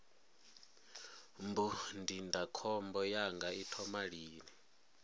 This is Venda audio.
mbu ndindakhombo yanga i thoma lini